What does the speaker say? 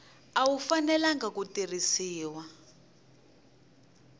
a wu fanelangi ku tirhisiwa